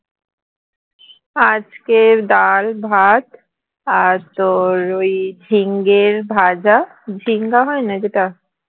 আজকে ডাল ভাত আর তোর ওই ঝিঙের ভাজা ঝিঙ্গা হয় না যেটা